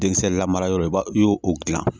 Denkisɛ lamarayɔrɔ i b'a i y'o dilan